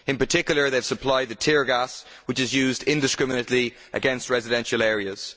In particular they have supplied the tear gas which is used indiscriminately against residential areas.